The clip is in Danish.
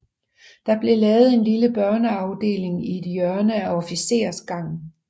Der blev lavet en lille børneafdeling i et hjørne af officersgangen